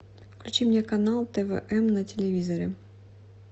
включи мне канал твм на телевизоре